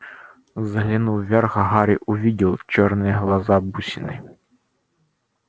взглянув вверх гарри увидел чёрные глаза-бусины